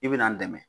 I bɛ n dɛmɛ